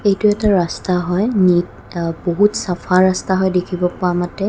এইটো এটা ৰাস্তা হয়. নীত আ বহুত চাফা হয় দেখিব পোৱা মতে.